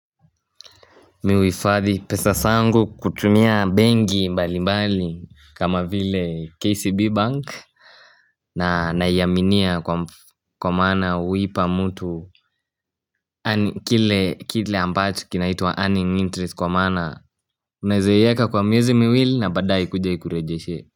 Mimi huhifadhi pesa zangu kutumia bengi mbali mbali kama vile KCB Bank na naiyaminia kwa maana huwipa mtu Kile ambacho kinaitwa earning interest kwa maana Unawezaiweka kwa miezi miwili na badaye ikuje ikurejeshee.